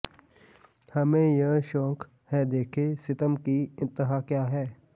ਹਮੇਂ ਯਹ ਸ਼ੌਕ ਹੈ ਦੇਖੇਂ ਸਿਤਮ ਕੀ ਇੰਤਹਾ ਕਿਆ ਹੈ